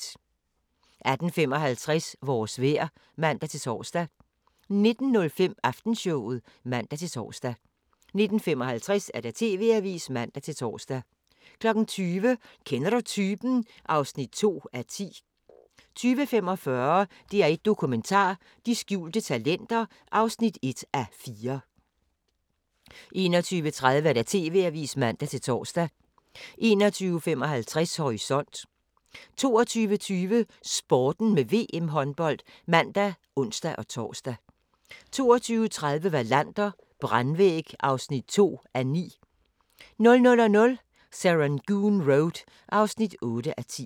18:55: Vores vejr (man-tor) 19:05: Aftenshowet (man-tor) 19:55: TV-avisen (man-tor) 20:00: Kender du typen? (2:10) 20:45: DR1 Dokumentar: De skjulte talenter (1:4) 21:30: TV-avisen (man-tor) 21:55: Horisont 22:20: Sporten med VM-håndbold (man og ons-tor) 22:30: Wallander: Brandvæg (2:9) 00:00: Serangoon Road (8:10)